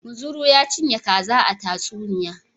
Muzuru ya cinye kaza a tatsuniya.